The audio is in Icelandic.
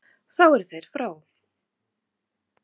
Þá eru þeir frá.